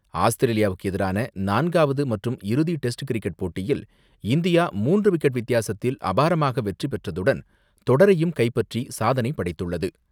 ஆஸ்திரேலியாவுக்கு எதிரான நான்காவது மற்றும் இறுதி டெஸ்ட் கிரிக்கெட் போட்டியில் இந்தியா மூன்று விக்கெட் வித்தியாசத்தில் அபாரமாகவெற்றி பெற்றதுடன், தொடரையும் கைப்பற்றி சாதனைபடைத்துள்ளது.